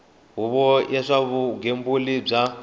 huvo ya swa vugembuli bya